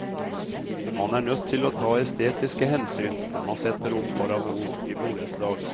Man er nødt til å ta estetiske hensyn når man setter opp parabol i borettslag.